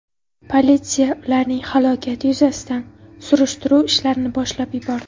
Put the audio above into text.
Politsiya ularning halokati yuzasidan surishtiruv ishlarini boshlab yubordi.